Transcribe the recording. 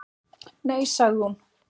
Nei, sagði hún.